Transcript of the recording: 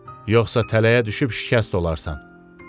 Yoxsa tələyə düşüb şikəst olarsan.